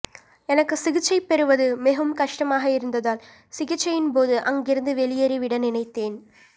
எனக்கு சிகிச்சை பெறுவது மிகவும் கஷ்டமாக இருந்ததால் சிகிச்சையின்போது அங்கிருந்து வெளியேறி விட நினைத்தேன்